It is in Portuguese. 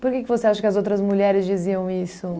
Por que que você acha que as outras mulheres diziam isso?